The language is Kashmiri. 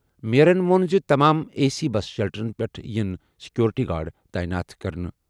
میئرَن ووٚن زِ تمام اے سی بس شیلٹرَن پٮ۪ٹھ یِن سیکیورٹی گارڈ تعینات کرنہٕ۔